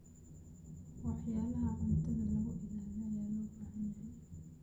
Waxyaalaha cuntada lagu ilaaliyo ayaa loo baahan yahay.